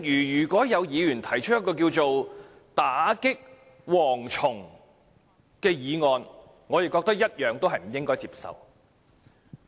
如果有議員提出一項"打擊'蝗蟲'"議案，我同樣認為不應該接受。